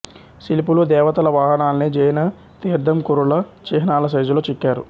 శిల్పులు దేవతల వాహనాల్ని జైన తీర్ధంకురుల చిహ్నాల సైజులో చెక్కారు